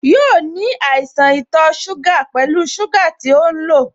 Yóò ní àìsàn ito suga pẹlu sugar to ń lo